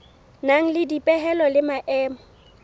nang le dipehelo le maemo